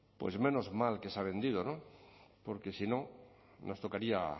menos mal que se ha vendido porque si no nos tocaría